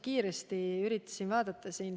Kiiresti üritasin vaadata.